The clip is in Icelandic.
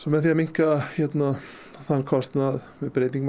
með því að minnka þann kostnað með breytingum á